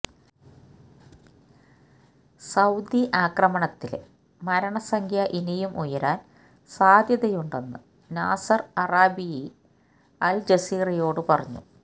Saudi ആക്രമണത്തിലെ മരണസംഖ്യ ഇനിയും ഉയരാന് സാധ്യതയുണ്ടെന്ന് നാസര് അറാബിയി അല്ജസീറയോട് പറഞ്ഞു